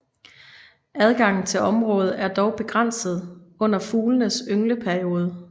Adgangen til området er dog begrænset under fuglenes yngleperiode